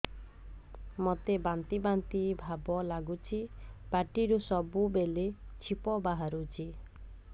ମୋତେ ବାନ୍ତି ବାନ୍ତି ଭାବ ଲାଗୁଚି ପାଟିରୁ ସବୁ ବେଳେ ଛିପ ବାହାରୁଛି